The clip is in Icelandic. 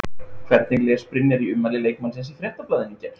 Hvernig les Brynjar í ummæli leikmannsins í Fréttablaðinu í gær?